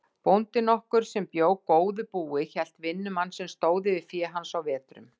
Bóndi nokkur sem bjó góðu búi hélt vinnumann sem stóð yfir fé hans á vetrum.